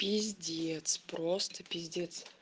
пиздец просто пиздец